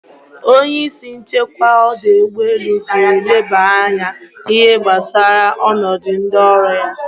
Onye isi nchekwa ọdọ ụgbọelu ga-elaba anya n'ihe gbasara ọnọdụ ndị ọrụ ya.